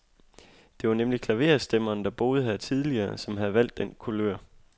Det var nemlig klaverstemmeren, der boede her tidligere, som havde valgt den kulør.